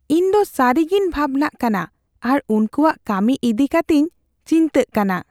ᱤᱧ ᱫᱚ ᱥᱟᱹᱨᱤᱜᱮᱧ ᱵᱷᱟᱵᱱᱟᱜ ᱠᱟᱱᱟ ᱟᱨ ᱩᱱᱠᱩᱣᱟᱜ ᱠᱟᱹᱢᱤ ᱤᱫᱤ ᱠᱟᱛᱮᱧ ᱪᱤᱱᱛᱟᱹᱜ ᱠᱟᱱᱟ ᱾